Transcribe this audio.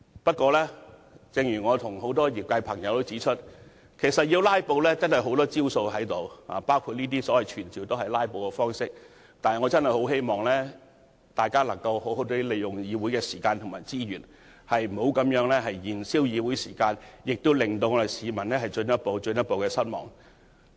正如我和很多業界朋友指出，如果要"拉布"，他們仍有很多招數，當前的議案也是一種"拉布"，但我希望大家好好利用議會的時間和資源，不要繼續燃燒議會的時間，令市民進一步、進一步失望。